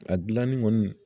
A gilanni kɔni